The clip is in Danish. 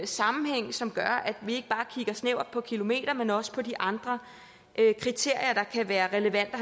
sammenhæng som gør at vi ikke bare kigger snævert på antal kilometer men også på de andre kriterier der kan være relevante